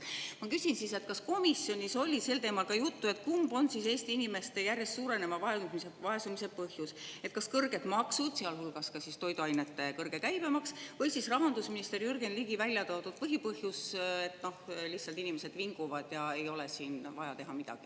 Ma küsin siis, et kas komisjonis oli sel teemal juttu, et kumb on Eesti inimeste järjest suureneva vaesumise põhjus, kas kõrged maksud, sealhulgas ka toiduainete kõrge käibemaks, või siis rahandusminister Jürgen Ligi välja toodud põhipõhjus, et lihtsalt inimesed vinguvad ja ei ole siin vaja teha midagi.